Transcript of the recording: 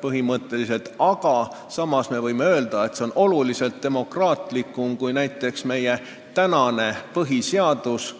põhimõtteliselt presidentaalsusest, aga samas võime öelda, et see on oluliselt demokraatlikum kui meie tänane põhiseadus.